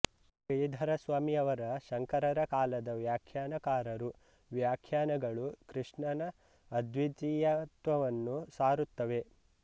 ಶ್ರೀಧರ ಸ್ವಾಮಿ ಯವರ ಶಂಕರರ ಕಾಲದ ವ್ಯಾಖ್ಯಾನಕಾರರು ವ್ಯಾಖ್ಯಾನಗಳು ಕೃಷ್ಣನ ಅದ್ವೀತಿಯತ್ವವನ್ನು ಸಾರುತ್ತವೆ